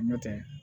Nɔtɛ